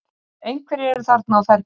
Einhverjir eru þarna á ferli.